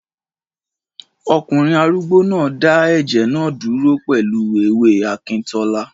Ọkùnrin arúgbó náà dá ẹ̀jẹ̀ náà dúró pẹ̀lú ewé akíntọ́lá